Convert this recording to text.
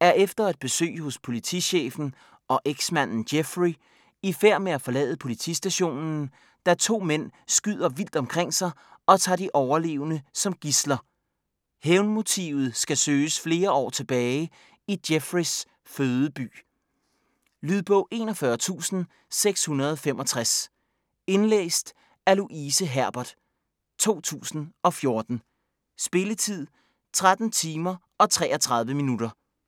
er efter et besøg hos politichefen og eksmanden Jeffrey i færd med at forlade politistationen, da to mænd skyder vildt omkring sig og tager de overlevende som gidsler. Hævnmotivet skal søges flere år tilbage i Jeffreys fødeby. Lydbog 41665 Indlæst af Louise Herbert, 2014. Spilletid: 13 timer, 33 minutter.